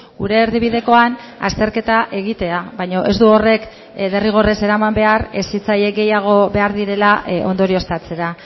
gure erdibidekoan azterketa egitea baina ez du horrek derrigorrez eraman behar hezitzaile gehiago behar direla ondorioztatzera